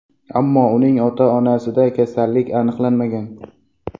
Ammo uning ota-onasida kasallik aniqlanmagan.